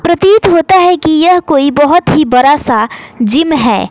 प्रतीत होता है की यह कोई बहोत ही बड़ा सा जिम है।